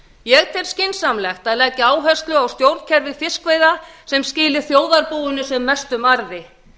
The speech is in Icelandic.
ég tel skynsamlegt að leggja áherslu á að stjórnkerfi fiskveiða skili þjóðarbúinu sem mestum arði